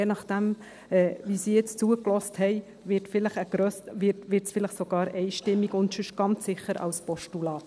Je nachdem wie sie jetzt zugehört haben, vielleicht sogar einstimmig und sonst ganz sicher als Postulat.